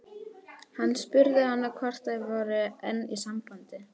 Hann spurði hana þá hvort þær væru enn í sambandi.